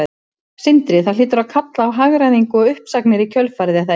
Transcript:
Sindri: Þetta hlýtur að kalla á hagræðingu og uppsagnir í kjölfarið er það ekki?